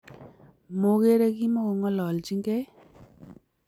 Mokerei kimakongalalchinkei